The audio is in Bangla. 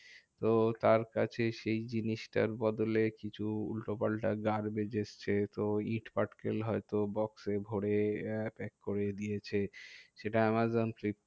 তো তার কাছে সেই জিনিসটার বদলে কিছু উল্টোপাল্টা garbage এসেছে। তো ইট পাটকেল হয়তো box এ ভরে আহ pack করে দিয়েছে। সেটা আমাজন ফ্লিপ